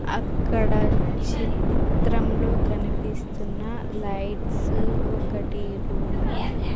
అక్కడ చిత్రంలో కనిపిస్తున్న లైట్స్ ఒకటి రూమ్ .